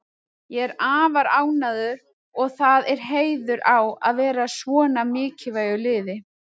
Ég er afar ánægður og það er heiður á að vera hjá svona mikilvægu liði.